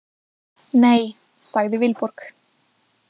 Nei, sagði Vilborg.